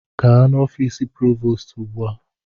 Gaa n'ọfịs Provoostu ugbu a!